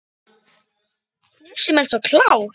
Þú sem ert svo klár.